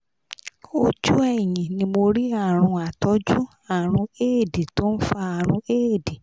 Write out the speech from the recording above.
ojú ẹ̀yìn ni mo rí àrùn àtọ́jú àrùn éèdì tó ń fa àrùn éèdì